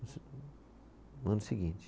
No ano seguinte.